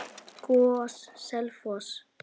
GOS- Selfoss